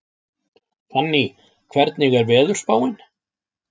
Fanný, hvernig er veðurspáin?